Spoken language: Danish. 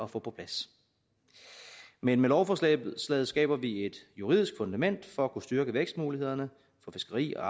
få på plads men med lovforslaget skaber vi et juridisk fundament for at kunne styrke vækstmulighederne for fiskeri og